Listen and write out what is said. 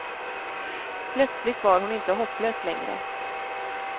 Plötsligt var hon inte hopplös längre.